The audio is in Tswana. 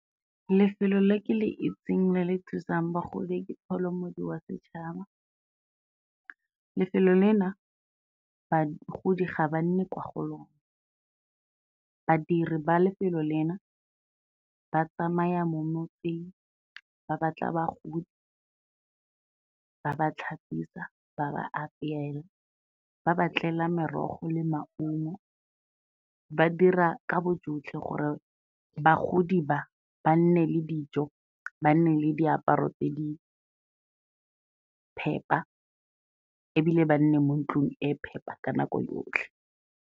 Lefelo le ke le itseng le le thusang bagodi ke Pholo Modi Wa Setšhaba, lefelo lena bagodi ga ba nne kwa go lona, badiri ba lefelo lena ba tsamaya mo motseng ba batla bagodi, ba ba tlhapisa, ba ba apeela, ba ba tlela merogo le maungo, ba dira ka bojotlhe gore bagodi ba, ba nne le dijo, ba nne le diaparo tse di phepa ebile ba nne mo ntlung e phepa ka nako yotlhe.